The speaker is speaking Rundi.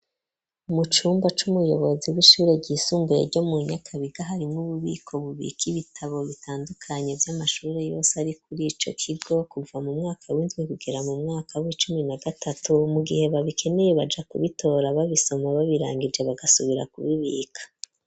Mucumba c'umuyobozi w'ishure ryisumbuye ryo mu nyakabiga, hari n'ububiko bubika ibitabo bitandukanye, vy'amashuri yose ari kuri ico kigo kuva mu mwaka windwi ,kugera mu mwaka w'icumi na gatatu ,mu gihe babikeneye baja kubitora babisoma babirangije bagasubira kubibika.